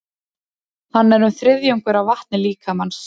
Hann er um þriðjungur af vatni líkamans.